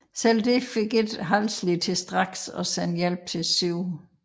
Selv dette fik ikke Halsey til straks at sende hjælp til 7